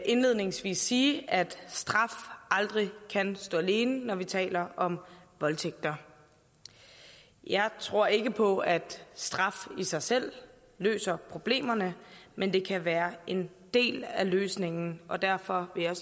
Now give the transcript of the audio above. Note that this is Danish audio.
indledningsvis sige at straf aldrig kan stå alene når vi taler om voldtægt jeg tror ikke på at straf i sig selv løser problemerne men det kan være en del af løsningen og derfor vil